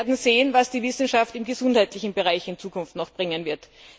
Wir werden sehen, was die Wissenschaft im gesundheitlichen Bereich in Zukunft noch sagen wird.